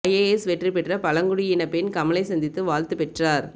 IAS வெற்றி பெற்ற பழங்குடியின பெண் கமலை சந்தித்து வாழ்த்து பெற்றார்